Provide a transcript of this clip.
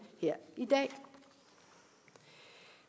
her i dag